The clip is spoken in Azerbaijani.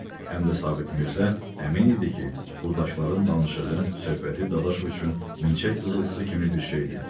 Həm də Sabit Mirzə əmin idi ki, burdakıların danışığı, söhbəti Dadaşov üçün milçək fızıltısı kimi bir şeydir.